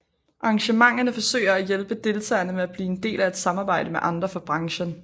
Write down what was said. Arrangementerne forsøger at hjælpe deltagerne med blive en del af at samarbejde med andre fra branchen